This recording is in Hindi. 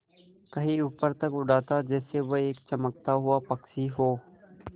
कहीं ऊपर तक उड़ाता जैसे वह एक चमकता हुआ पक्षी हो